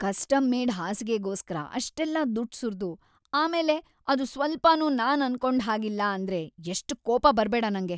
Custom-made ಹಾಸಿಗೆಗೋಸ್ಕರ ಅಷ್ಟೆಲ್ಲ ದುಡ್ಡ್‌ ಸುರ್ದು ಆಮೇಲೆ ಅದು ಸ್ವಲ್ಪನೂ ನಾನ್‌ ಅನ್ಕೊಂಡ್‌ ಹಾಗಿಲ್ಲ ಅಂದ್ರೆ ಎಷ್ಟ್‌ ಕೋಪ ಬರ್ಬೇಡ ನಂಗೆ.